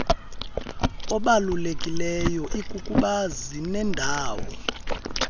obalulekileyo ikukuba zinendawo